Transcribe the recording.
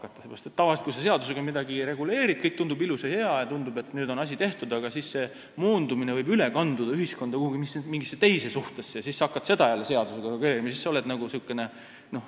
Sellepärast, et tavaliselt, kui sa seadusega midagi reguleerid, kõik tundub ilus ja hea, ja tundub, et nüüd on asi tehtud, aga siis see moondumine võib üle kanduda ühiskonnas mingisse teise suhtesse ja siis sa hakkad seda jälle seadusega reguleerima.